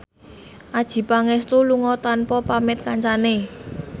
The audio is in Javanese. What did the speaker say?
Adjie Pangestu lunga tanpa pamit kancane